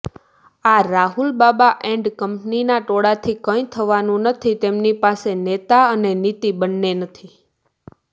આ રાહુલબાબા એન્ડ કંપનીના ટોળાથી કંઈ થવાનું નથી તેમની પાસે નેતા અને નિતી બન્ને નથી